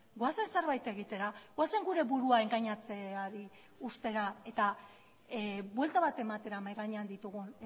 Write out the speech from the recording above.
goazen zerbait egitera goazen gure burua engainatzeari uztera eta buelta bat ematera mahai gainean ditugun